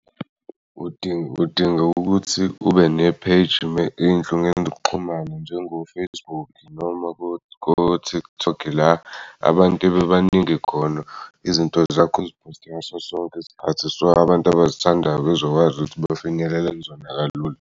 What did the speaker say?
Udinga ukuthi ube ne-page ezinhlongeni zokuxhumana njengo-Facebook noma ko-TikTok, la abantu bebaningi khona izinto zakho uziphoste ngaso sonke isikhathi so abantu abazithandayo bezokwazi ukuthi befinyelele kuzona kalula.